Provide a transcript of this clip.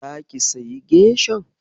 Zaki sayi geshan?